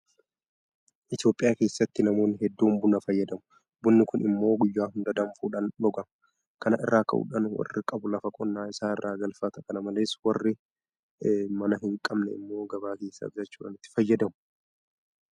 Itoophiyaa keessatti namoonni hedduun Buna fayyadamu. Bunni kun immoo guyyaa hunda danfuudhaan dhugama. Kana irraa ka'uudhaan warri qabu lafa qonnaa isaa irraa galfata. Kana malees warri manaa hinqabne immoo gabaa keessaa bitachuudhaan itti fayyadamu.